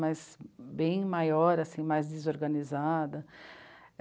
Mas bem maior, assim, mais desorganizada.